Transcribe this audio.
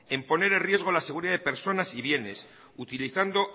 en poner en riesgo la seguridad de personas y bienes utilizando